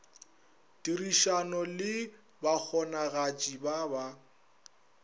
tirišano le bakgonagatši ba ba